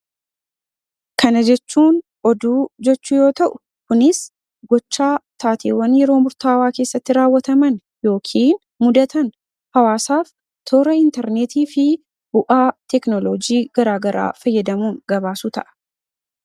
Kana jechuun oduu jechuu yoo ta'u kunis gochaa taateewwan yeroo murtaawaa keessatti raawwataman yookiin mudatan hawaasaaf toora intarneetii fi bu'aa teknolojii garaagaraa fayyadamuun gabaasuu ta'a.